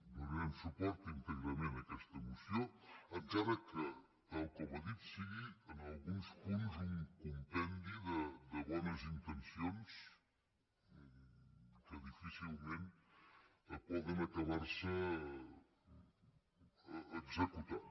donarem suport íntegrament a aquesta moció encara que tal com ha dit sigui en alguns punts un compendi de bones intencions que difícilment poden acabar se executant